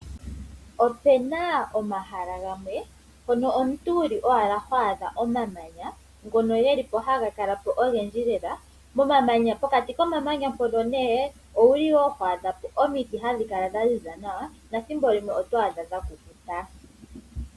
Opena omahala gamwe mpono omuntu wuli owala ho adha omamanya ngono gelipo haga kalapo ogendji lela pokati komamanya mpono ne owuli woo ho adhapo omiti hadhi kala dhaziza nawa nethimbo limwe oto adha dhakukuta.